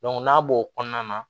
n'a b'o kɔnɔna na